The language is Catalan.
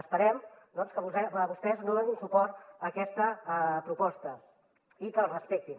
esperem doncs que vostès no donin suport a aquesta proposta i que els respectin